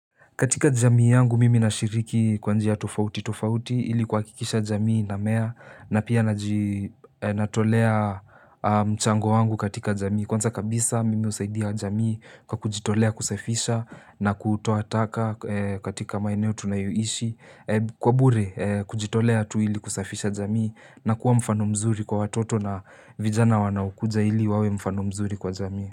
Katika jamii yangu mimi nashiriki kwa njia tofauti tofauti ili kuhakikisha jamii inamea na pia natolea mchango wangu katika jamii. Kwanza kabisa mimi husaidia jamii kwa kujitolea kusafisha na kutoa taka katika maeneo tunayoishi. Kwa bure kujitolea tu ili kusafisha jamii na kuwa mfano mzuri kwa watoto na vijana wanaokuja ili wawe mfano mzuri kwa jamii.